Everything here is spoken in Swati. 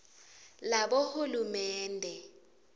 labohulumende